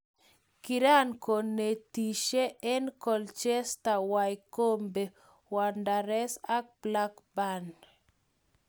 Kiran konetisie en Colchester ,Wycombe wanderers ak Blackburn.